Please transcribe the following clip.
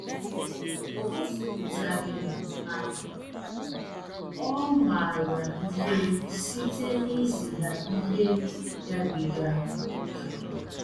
O gosipụtaghị na ọ maara ihe site n’izi ha ihe gabiga ókè.